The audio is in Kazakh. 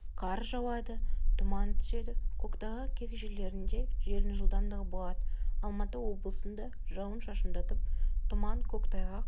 қар жауады тұман түседі көктайғақ кей жерлерінде желдің жылдамдығы болады алматы облысында жауын-шашындатып тұман көктайғақ